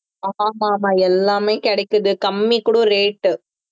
ஆமா ஆமா எல்லாமே கிடைக்குது கம்மி கூட rate